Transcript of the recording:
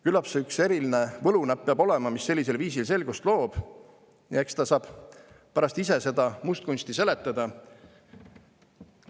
Küllap see üks eriline võlunäpp peab olema, mis sellisel viisil selgust loob, ja eks ta saab pärast ise seda mustkunsti seletada.